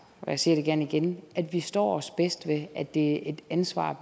jeg siger det gerne igen at vi står os bedst ved at det er et ansvar